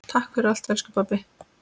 Takk fyrir allt, elsku pabbi.